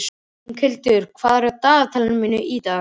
Inghildur, hvað er í dagatalinu mínu í dag?